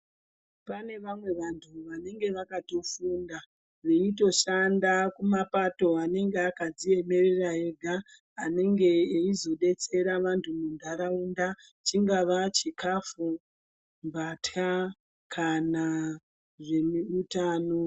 Pane vamwe vantu vanenge vakatofunda veitoshanda kumapato anenge akadziemera ega anenge eizodetsera vantu muntaraunda. Chingava chikafu, mbatya kana zveutano.